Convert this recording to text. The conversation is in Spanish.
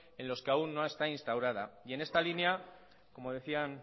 en los que aún no está instaurada y en esta línea como decían